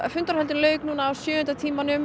fundarhöldum lauk á sjöunda tímanum